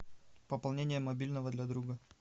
пополнение мобильного для друга